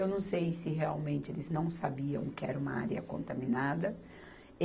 Eu não sei se realmente eles não sabiam que era uma área contaminada.